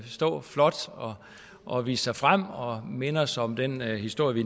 stå flot og vise sig frem og minde os om den historie vi